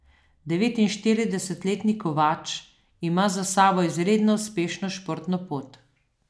Devetinštiridesetletni Kovač ima za sabo izredno uspešno športno pot.